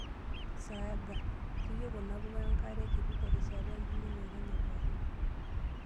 Saaga: keyieu kuna puka enkare kiti terishata embulunoto enye pookin.